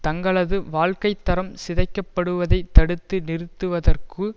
தங்களது வாழ்க்கை தரம் சிதைக்கப்படுவதை தடுத்து நிறுவத்துவதற்கு